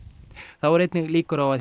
þá eru einnig líkur á að